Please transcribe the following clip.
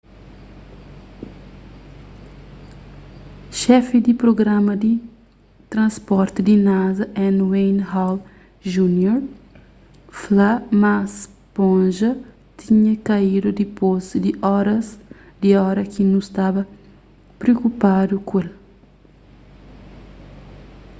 xefi di prugrama di transporti di nasa n wayne hale jr fla ma sponja tinha kaídu dipôs di ora ki nu staba priokupadu ku el